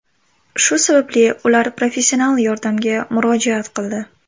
Shu sababli ular professional yordamga murojaat qildi .